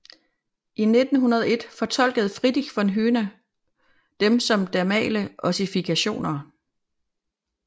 I 1901 fortolkede Friedrich von Huene dem som dermale ossifikationer